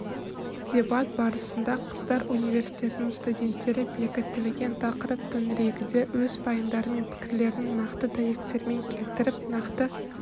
дебат барысында қыздар университетінің студенттері бекітілген тақырып төңірегінде өз пайымдары мен пікірлерін нақты дәйектермен келтіріп нақты